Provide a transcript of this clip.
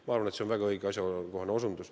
Ma arvan, et see on väga õige ja asjakohane osutus.